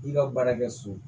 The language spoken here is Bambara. I ka baara kɛ so